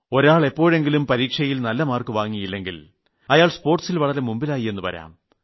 ഒരാളെ എപ്പോഴെങ്കിലും പരീക്ഷയിൽ നല്ല മാർക്ക് വാങ്ങിയില്ലെങ്കിൽ അയാൾ സ്പോർട്സിൽ വളരെ മുമ്പിലായി എന്നു വരാം